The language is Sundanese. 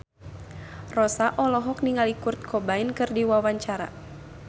Rossa olohok ningali Kurt Cobain keur diwawancara